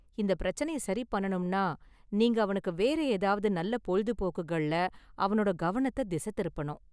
இந்த பிரச்சனைய சரி பண்ணணும்னா நீங்க அவனுக்கு வேற ஏதாவது நல்ல பொழுபோக்குகள்ல அவனோட கவனத்த திச திருப்பனும்.